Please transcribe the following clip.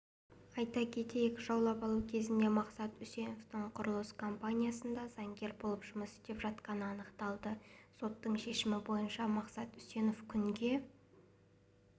айта кетейік жауап алу кезінде мақсат үсеновтің құрылыс компаниясында заңгер болып жұмыс істеп жатқаны анықталды соттың шешімі бойынша мақсат үсенов күнге